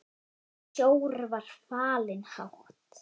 Sjór var fallinn hátt.